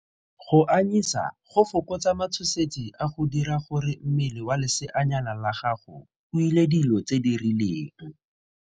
Go anyisa go fokotsa matshosetsi a go dira gore mmele wa leseanyana la gago o ile dilo tse di rileng.